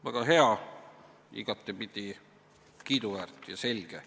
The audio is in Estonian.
Väga hea, igatepidi kiiduväärt ja selge.